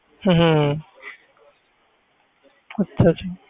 ਹਮ ਹਮ ਅੱਛਾ ਅੱਛਾ